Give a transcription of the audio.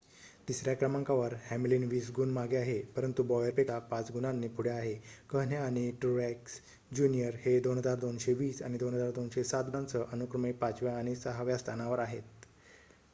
तिसर्‍या क्रमांकावर हॅमलिन वीस गुण मागे आहे परंतु बॉयरपेक्षा पाच गुणांनी पुढे आहे कहणे आणि ट्रूएक्स ज्युनियर हे 2,220 आणि 2,207 गुणांसह अनुक्रमे पाचव्या आणि सहाव्या स्थानावर आहेत